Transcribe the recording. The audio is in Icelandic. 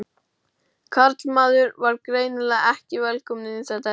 Karlmaður var greinilega ekki velkominn inn í þetta herbergi.